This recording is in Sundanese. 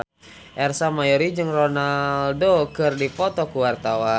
Ersa Mayori jeung Ronaldo keur dipoto ku wartawan